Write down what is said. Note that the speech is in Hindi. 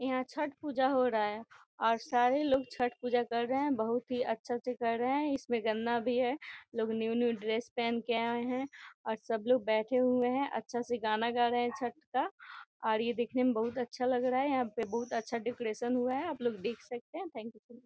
यहाँ छट पूजा हो रहा है और सारे लोग छट पूजा कर रहें हैं बहुत ही अच्छा से कर रहें हैं इसमें गन्ना भी है लोग न्यू - न्यू ड्रेस पहन के आए हैं और सब लोग बैठे हुए हैं अच्छा सा गाना गा रहें हैं छट का और ये देखने में बहुत अच्छा लग रहा है यहाँ पे बहुत अच्छा डेकोरेशन हुआ है आप लोग देख सकते हैं थैंक यू ।